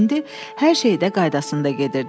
hər şey də qaydasında gedirdi.